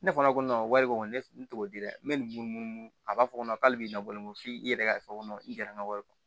Ne fana ko wari ko kɔni ne t'o di dɛ n bɛ nin mun a b'a fɔ k'ale b'i dabɔ nogo f'i yɛrɛ ka fɔ kɔnɔ i gɛrɛ ka wari kɔ